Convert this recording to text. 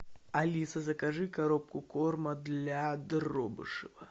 алиса закажи коробку корма для дробышева